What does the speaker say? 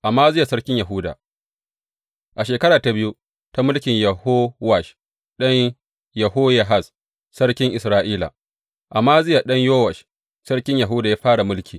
Amaziya sarkin Yahuda A shekara ta biyu ta mulkin Yehowash ɗan Yehoyahaz sarkin Isra’ila, Amaziya ɗan Yowash sarkin Yahuda ya fara mulki.